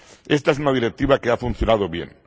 Esta es una directiva que ha funcionado bien.